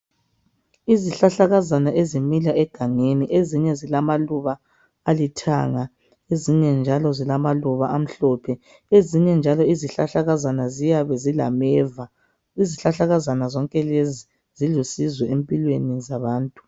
Izihlahla kazana ezimila egangeni ezinye zilama Luba alithanga ezinye zilamaluba amhlophe ezinye njalo izihlahla kazana ziyabe zila meva izihlahlakazana zonke lezi ziyabe zilusizo empilweni zabantu